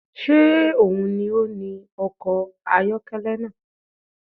Ṣé òun ló ni ọkọ̀ ayọ́kẹ́lẹ́ náà?